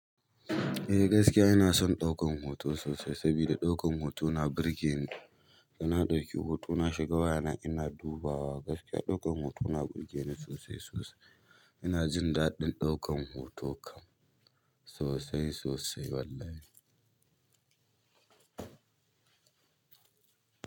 Eh gaskiya ina son ɗaukan hoto sosai, saboda ɗaukan hoto na burge ni. Ina ɗauki hoto, na shiga wayana ina dubawa. Gaskiya ɗaukan hoto na burge ni sosai, sosai. Ina jin daɗin ɗaukan hoto kam sosai, sosai wallahi.